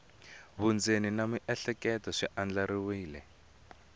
vundzeni na miehleketo swi andlariweke